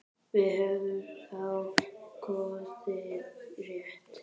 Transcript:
Við höfum þá kosið rétt.